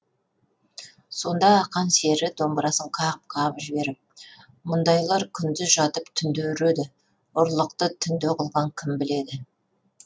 сонда ақан сері домбырасын қағып қағып жіберіп мұндайлар күндіз жатып түнде үреді ұрлықты түнде қылған кім біледі